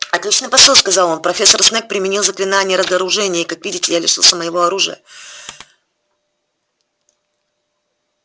отличный посыл сказал он профессор снегг применил заклинание разоружения и как видите я лишился моего оружия